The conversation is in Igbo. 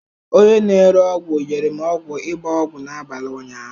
Onye na-ere ọgwụ nyere m ọgwụ ịgba ọgwụ n'abalị ụnyaahụ.